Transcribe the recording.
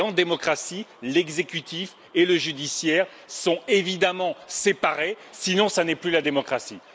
En démocratie, l'exécutif et le judiciaire sont évidemment séparés, sinon ce n'est plus la démocratie.